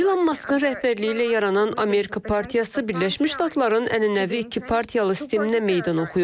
İlon Maskın rəhbərliyi ilə yaranan Amerika partiyası Birləşmiş Ştatların ənənəvi iki partiyalı sisteminə meydan oxuyur.